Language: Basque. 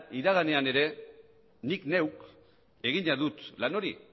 iraganean ere nik neuk egina dut lan hori